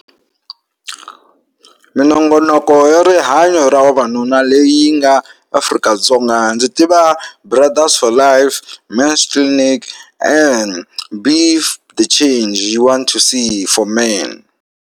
Minongonoko yo rihanyo ra vavanuna leyi nga Afrika-Dzonga ndzi tiva brothers for life, men's clinic and the change you want to see for men.